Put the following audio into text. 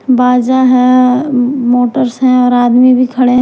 बाजा है अम मोटर्स है और आदमी भी खड़े हैं।